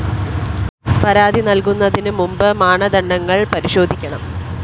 പരാതി നല്‍കുന്നതിന് മുമ്പ് മാനദണ്ഡങ്ങള്‍ പരിശോധിക്കണം